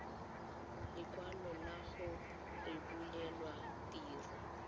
lekwalo la go rebolelwa tiro